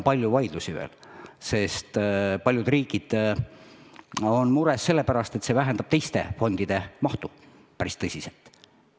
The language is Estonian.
Palju vaidlusi seisab veel ees, sest mõned riigid on mures, et see vähendab teiste fondide mahtu päris tõsiselt.